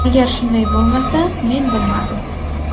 Agar shunday bo‘lmasa, men bilmadim.